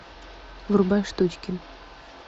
врубай штучки